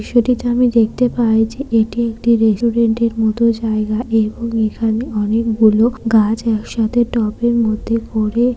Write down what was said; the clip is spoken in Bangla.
দৃশ্যটিতে আমি দেখতে পাই যে এটি একটি রেসুডেন্টের মত জায়গা এবং এখানে অনেক গুলো গাছ একসাথে টবের এর মধ্যে ভরে--